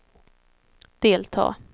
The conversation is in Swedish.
delta